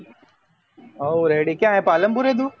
હવો ready ક્યાં હે પાલનપુર હે તું?